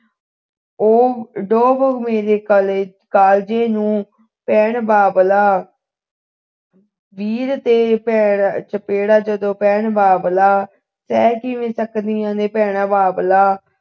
ਉਹ ਡੋਬ ਮੇਰੇ ਕਾਲਕਾਲਜੇ ਨੂੰ ਪੈਣ ਬਾਬਲਾ ਵੀਰ ਤੇ ਜਦੋਂ ਚਪੇੜਾਂ ਭੈਣ ਬਾਬਲਾ ਸਹਿ ਕਿਵੇਂ ਸਕਦੀਆਂ ਨੇ ਭੈਣਾਂ ਬਾਬਲਾ